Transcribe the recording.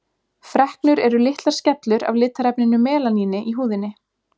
Freknur eru litlar skellur af litarefninu melaníni í húðinni.